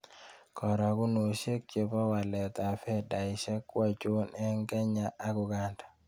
Karagunosiek chebo waletap fedaisiek kwochon eng' kenya ak uganda